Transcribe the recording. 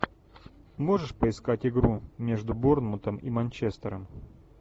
можешь поискать игру между борнмутом и манчестером